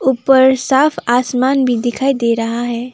ऊपर साफ आसमान भी दिखाई दे रहा है।